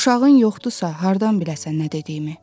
Uşağın yoxdursa, hardan biləsən nə dediyimi?